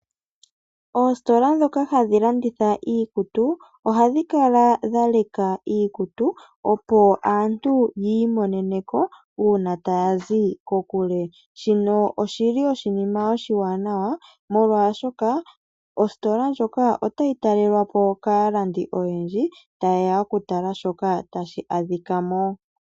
Oositola dhoka hadhi landitha iikutu, ohadhi kala dhela leka iikutu opo aantu yi imoneneko una taya zi kokule. Shino oshili oshima oshiwanawa, molwaashoka, ositola ndjoka otayi talelwapo kaalandi oyendji, ta yeya oku tala shoka tashi adhika mo.